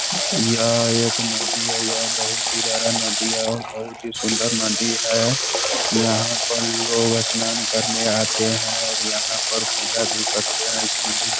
यह एक नदी है यह बहुत ही बड़ा नदी है और बहुत ही सुन्‍दर नदी है यहाँ पर लोग स्‍नान करने आते हैं और यहाँ पर पूजा भी करते हैं इस नदी --